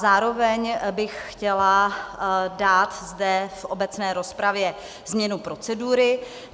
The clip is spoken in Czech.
Zároveň bych chtěla dát zde v obecné rozpravě změnu procedury.